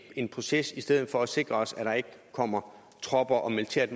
en proces i stedet for at sikre os at der ikke kommer tropper og militært